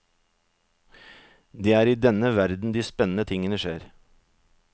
Det er i denne verden de spennende tingene skjer.